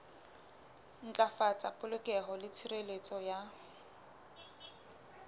ntlafatsa polokeho le tshireletso ya